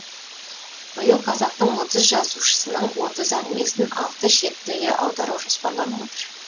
биыл қазақтың отыз жазушысының отыз әңгімесін алты шет тілге аудару жоспарланып отыр